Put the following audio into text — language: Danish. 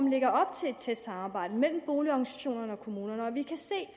lægger op til et tæt samarbejde mellem boligorganisationerne og kommunerne og vi kan se at